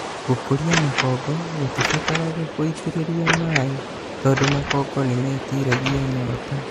Gũkũria makongo gũtibataraga gũitĩrĩria maĩĩ tondũ makongo nĩmetiragia nyota